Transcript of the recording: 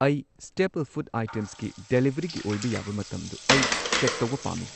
ꯑꯩ staple food ꯑꯥꯏꯇꯦꯝꯁꯀꯤ ꯗꯦꯂꯤꯚꯔꯤꯒꯤ ꯑꯣꯏꯕ ꯌꯥꯕ ꯃꯇꯝꯗꯨ ꯑꯩ ꯆꯦꯛ ꯇꯧꯕ ꯄꯥꯝꯃꯤ꯫